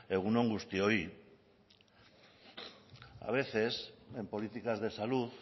egun on guztioi a veces en políticas de salud